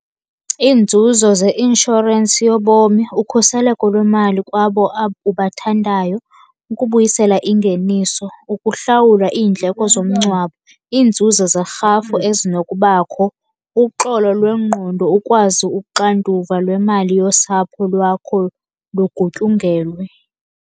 Iinzuzo zeinshorensi yobomi, ukhuseleko lwemali kwabo ubathandayo, ukubuyisela ingeniso, ukuhlawula iindleko zomngcwabo, iinzuzo zerhafu ezinokubakho, uxolo lwengqondo, ukwazi uxanduva lwemali yosapho lwakho lugutyungelwe.